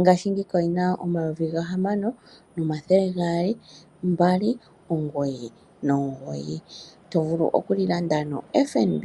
ngashi ngeyika oli na 6,299. To vulu okuli landa noFNB